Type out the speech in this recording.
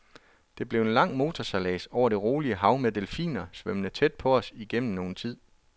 Det blev en lang motorsejlads over et roligt hav med delfiner svømmende tæt på os igennem nogen tid.